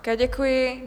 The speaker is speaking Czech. Také děkuji.